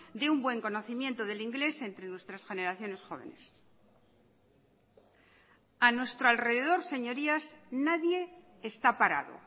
de un buen conocimiento del inglés entre nuestras generaciones jóvenes a nuestro alrededor señorías nadie está parado